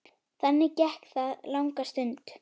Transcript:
Þannig gekk það langa stund.